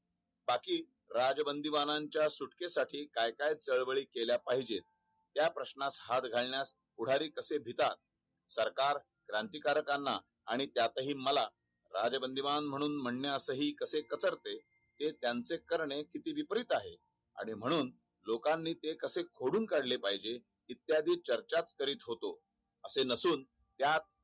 आणि त्यात हि मला राजबंदीबान म्ह्णून म्हणास कसे कतर ते त्याचे करणे किती विपरीत आहे म्ह्णून लोकांनी ते कसे खोडून काढले पाहिजे इत्यादी चर्चा च करत असे नसून त्यात